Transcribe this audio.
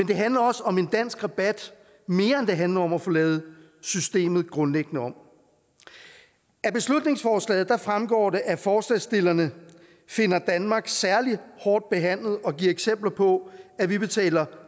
det handler også om en dansk rabat mere end det handler om at få lavet systemet grundlæggende om af beslutningsforslaget fremgår det at forslagsstillerne finder danmark særlig hårdt behandlet og giver eksempler på at vi betaler